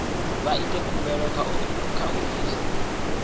vha ite khumbelo kha ofisi